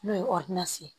N'o ye ye